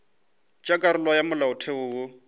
tša karolo ya molaotheo wo